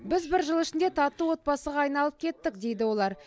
біз бір жыл ішінде тату отбасыға айналып кеттік дейді олар